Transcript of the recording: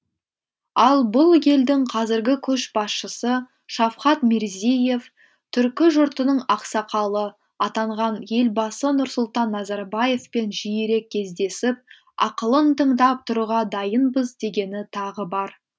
ал бұл елдің қазіргі көшбасшысы шавхат мирзиеев түркі жұртының ақсақалы атанған елбасы нұрсұлтан назарбаевпен жиірек кездесіп ақылын тыңдап тұруға дайынбыз дегені тағы бар